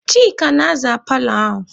Chika ka na-aza paalọ ahụ.